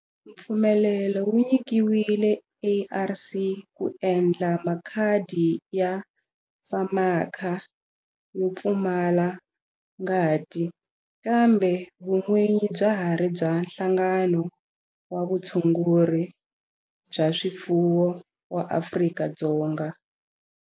Mpfumelelo wu nyikiwile ARC ku endla makhadi ya FAMACHA yo pfumala ngati kambe vun'winyi bya ha ri bya Nhlangano wa Vutshunguri bya swifuwo wa Afrika-Dzonga.